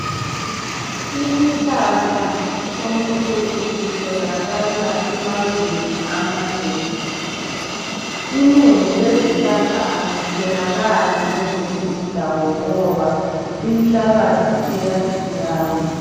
Isihlahla sonkusi sitholakala emazweni amanengi. Inengi lezihlahla alitholakali kwezinye indawo ngoba inhlabathi iyatshiyana.